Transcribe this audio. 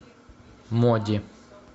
моди